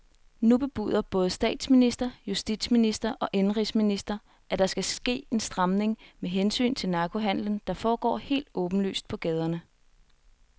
Nu bebuder både statsminister, justitsminister og indenrigsminister, at der skal ske en stramning med hensyn til narkohandelen, der foregår helt åbenlyst på gaderne.